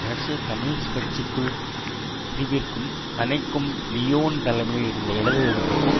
ரஷ்ய கம்யூனிஸ்ட் கட்சிக்குள் பிரிவிற்கும் கனைக்கும் லியோன் தலைமையில் இருந்த இடது எதிர்ப்புக்கும்